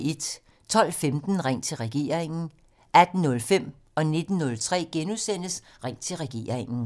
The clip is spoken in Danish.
12:15: Ring til regeringen: 18:05: Ring til regeringen: * 19:03: Ring til regeringen: *